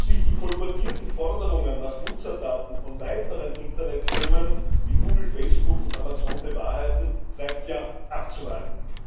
Ob sich die kolportierten Forderungen nach Nutzerdaten von weiteren Internetfirmen wie Google, Facebook und Amazon bewahrheiten, bleibt ja abzuwarten.